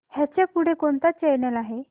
ह्याच्या पुढे कोणता चॅनल आहे